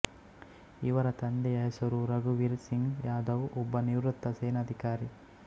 ಇವರ ತಂದೆಯ ಹೆಸರು ರಘುವೀರ್ ಸಿಂಗ್ ಯಾದವ್ ಒಬ್ಬ ನಿವೃತ್ತ ಸೇನಾಧಿಕಾರಿ